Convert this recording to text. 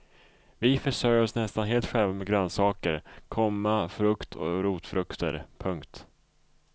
Vi försörjer oss nästan helt själva med grönsaker, komma frukt och rotfrukter. punkt